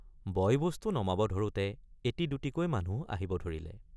বয়বস্তু নমাব ধৰোঁতে এটি দুটিকৈ মানুহ আহিব ধৰিলে।